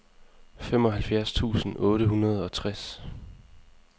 femoghalvfjerds tusind otte hundrede og tres